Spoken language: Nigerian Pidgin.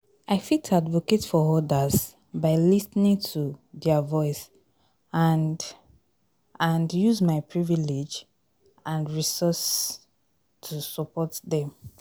i fit advocate for others by lis ten ing to their voice and, and use my privilege and resource to support dem.